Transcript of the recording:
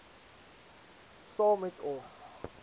saam met ons